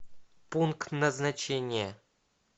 пункт назначения